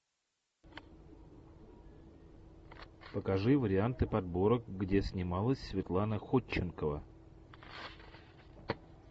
покажи варианты подборок где снималась светлана ходченкова